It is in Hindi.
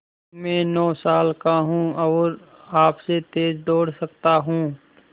मैं नौ साल का हूँ और आपसे तेज़ दौड़ सकता हूँ